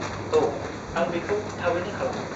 -औ, आं बेखौ थाबैनो खालामगोन।